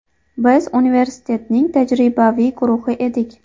Biz universitetning tajribaviy guruhi edik.